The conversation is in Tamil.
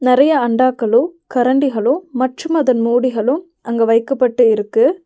நெறையா அண்டாக்களு கரண்டிகளு மற்றும் அதன் மூடிகளும் அங்கு வைக்கப்பட்டு இருக்கு.